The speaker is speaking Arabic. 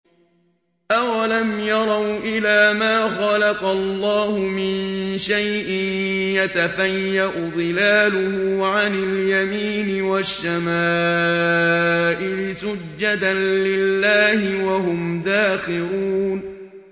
أَوَلَمْ يَرَوْا إِلَىٰ مَا خَلَقَ اللَّهُ مِن شَيْءٍ يَتَفَيَّأُ ظِلَالُهُ عَنِ الْيَمِينِ وَالشَّمَائِلِ سُجَّدًا لِّلَّهِ وَهُمْ دَاخِرُونَ